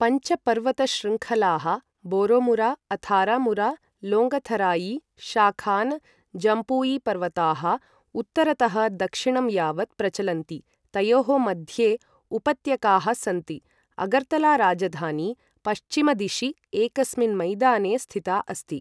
पञ्च पर्वतशृङ्खलाः बोरोमुरा, अथारामुरा, लोङ्गथराई, शाखान, जम्पुई पर्वताः उत्तरतः दक्षिणं यावत् प्रचलन्ति, तयोः मध्ये उपत्यकाः सन्ति, अगरतला राजधानी पश्चिमदिशि एकस्मिन् मैदाने स्थिता अस्ति ।